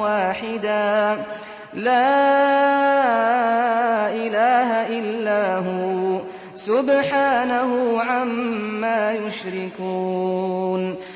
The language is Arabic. وَاحِدًا ۖ لَّا إِلَٰهَ إِلَّا هُوَ ۚ سُبْحَانَهُ عَمَّا يُشْرِكُونَ